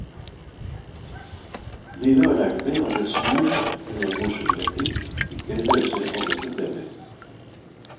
Livet har lært meg at et smil eller en morsom replikk ikke løser alle problemer.